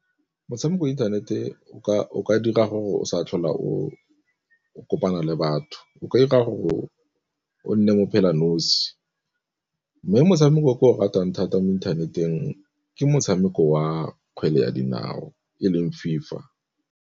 Motshameko inthanete o ka dira gore o sa tlhola o kopana le batho, o ka dira gore o o nne mo phela nosi. Mme motshameko o ke o ratang thata mo inthaneteng ke motshameko wa kgwele ya dinao e leng FIFA.